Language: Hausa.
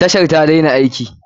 Tashar ta daina aiki.